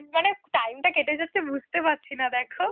মানে time টা কেটে যাচ্ছে বুঝতে পারছি না দেখো